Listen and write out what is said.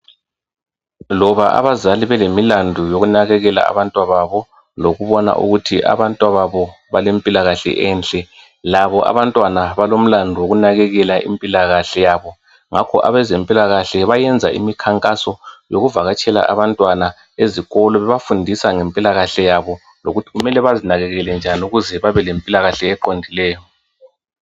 Loba abazali belemilandu yokunakekela abantwababo. Lokubona ukuthi abantwababo balempilakahle enhle. Labo abantwaba balemilandu yokunakekela impilakahle yabo. Ngakho abezempilakahle bayenza imikhankaso yokuvakatshela abantwana, bebafundisa ngempilakahle yabo. Lokuthi kumele bazinakekele nyani ukuze babe iempilakahle eqondileyo.